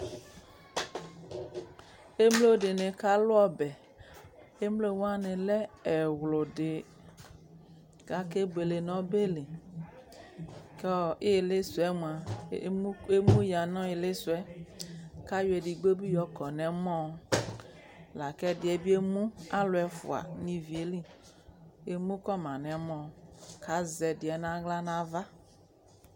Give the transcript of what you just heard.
Emlo di ni kalu ɔbɛ emlo wani lɛ ɛɣludi kake buele nu ɔbeli kɔ ilisuɛ mua lemuɣa nu ilisuɛ kayɔ edigbo yɛ bi kɔ nu ɔmɔ laku edigbo bi emu alu ɛfua ni ivi yɛli akɔma nu ɛmɔ ƙu azɛdiɛ nu aɣla nu ava